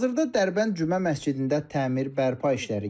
Hazırda Dərbənd Cümə məscidində təmir bərpa işləri gedir.